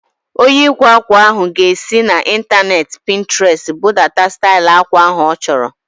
Onye ịkwa ákwà ahu ga-esi n'intaneeti Pintrestị budata stail akwa ahu ọ chọrọ